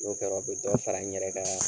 N'o kɛra o bɛ dɔ fara n yɛrɛ ka